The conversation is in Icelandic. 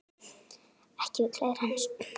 Ekki við klær hans.